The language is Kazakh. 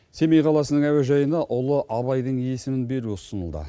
семей қаласының әуежайына ұлы абайдың есімін беру ұсынылды